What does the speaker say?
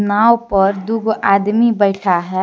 नाव पर दुगो आदमी बैठा है।